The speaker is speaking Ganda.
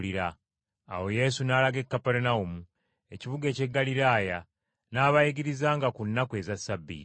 Awo Yesu n’alaga e Kaperunawumu, ekibuga eky’e Ggaliraaya n’abayigirizanga ku nnaku eza Ssabbiiti.